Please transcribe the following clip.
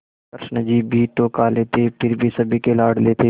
कृष्ण जी भी तो काले थे पर फिर भी सभी के लाडले थे